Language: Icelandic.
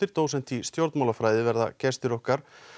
dósent í stjórnmálafræði verða gestir okkar